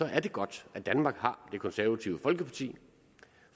er det godt at danmark har det konservative folkeparti